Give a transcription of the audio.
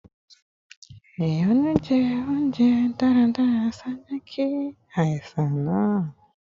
Ìyọnu jẹ ounjẹ daradara ṣaaju ki aisan naa